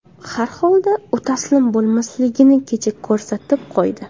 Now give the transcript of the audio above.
Har holda u taslim bo‘lmasligini kecha ko‘rsatib qo‘ydi.